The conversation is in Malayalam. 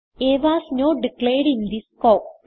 uh was not declared in the scope